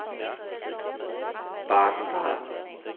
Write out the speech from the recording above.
Baden-Baden